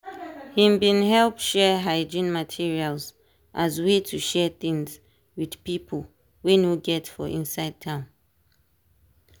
him bin help share hygiene materials as way to share things with pipo wey no get for inside town.